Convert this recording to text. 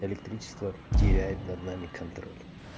электричество теряет над нами контроль